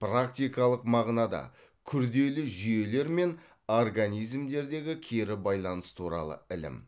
практикалық мағынада күрделі жүйелер мен организмдердегі кері байланыс туралы ілім